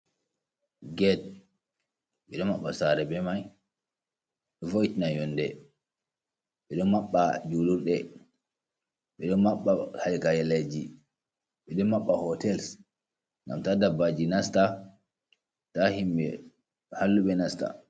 Get ɓeɗo maɓɓa sare ɓe mai, vo'itina yonɗe ɓeɗo maɓɓa julurɗe, ɓeɗo maɓɓa Hai kaileji, ɓeɗo maɓɓa hoteils ngam ta ɗaɓɓaji nasta, ta himɓe halluɓe nastam